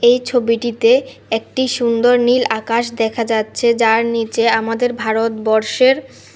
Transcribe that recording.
এই ছবিটিতে একটি সুন্দর নীল আকাশ দেখা যাচ্ছে যার নিচে আমাদের ভারতবর্ষের--